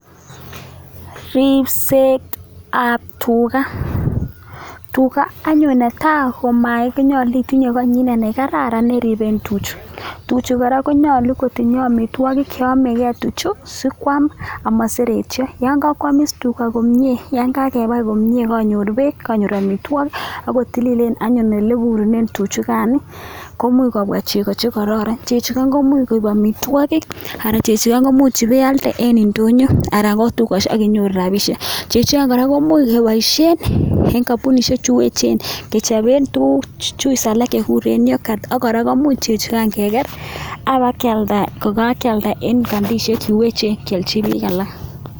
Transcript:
Ripsetab tuga, tuga anyun ne tai, ko nyolu itinye koingwai ne kararan neripen tuchu, tuchukan konyolu kotinyei amitwokik che yomekei sikwaam amaseretio, yon kakwamiis tuga komnye, yon kakepai komnye kanyor beek, kanyor amitwokik ako tililen anyun ole ipuren tuchukan komuch kobwa chego koraran. Chechoton komuch koip amitwokik anan chechukan komuch ipialde eng indonyo anan ko dukesiek akinyoru rapishek. Chechukan kora komuch kepoishen eng kampunisiek chu echen kechopen tugun chuis alak che kikuren yoghurt ak kora chechukan kora kemuch keker ako ipkealda kokakealda eng kambishek che echen kialchi biik alak.